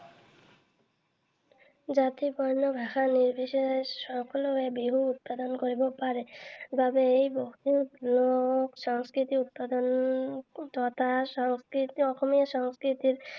জাতি, বৰ্ণ, ভাষা নিৰ্বিশেষে সকলোৱে বিহু উদযাপন কৰিব পাৰে বাবেই বিহুক লোক সংস্কৃতিৰ দাপোণ তথা অসমীয়া সংস্কৃতিৰ